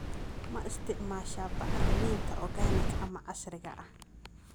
Ma isticmaasha bacriminta organic ama casriga ah?